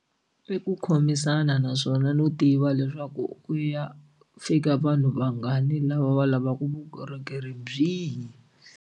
I ku khomisana naswona no tiva leswaku u ya fika vanhu vangani lava va lavaka vukorhokeri byihi.